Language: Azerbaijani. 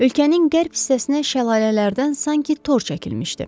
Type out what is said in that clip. Ölkənin qərb hissəsinə şəlalələrdən sanki tor çəkilmişdi.